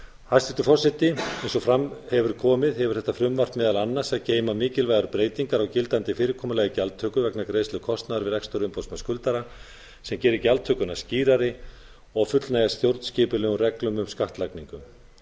hæstvirtur forseti eins og fram hefur komið hefur þetta frumvarp meðal annars að geyma mikilvægar breytingar á gildandi fyrirkomulagi gjaldtöku vegna greiðslu kostnaðar við rekstur umboðsmanns skuldara sem gerir gjaldtökuna skýrari og fullnægir stjórnskipulegum reglum um skattlagningu